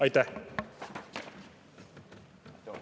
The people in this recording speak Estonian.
Aitäh!